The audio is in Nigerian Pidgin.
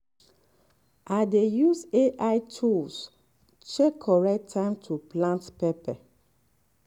i dey use ai tools check correct time to plant pepper.